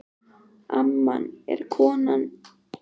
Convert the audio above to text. amman er kona að mínu skapi, einsog þú.